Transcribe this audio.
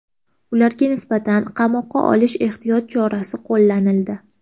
Ularga nisbatan qamoqqa olish ehtiyot chorasi qo‘llanildi.